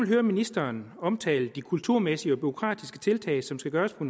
hører ministeren omtale de kulturmæssige og bureaukratiske tiltag som skal gøres på